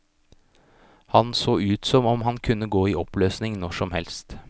Han så ut som om han kunne gå i oppløsning når som helst.